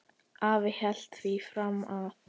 Afi hélt því fram að